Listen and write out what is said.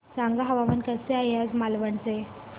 सांगा हवामान कसे आहे आज मालवण चे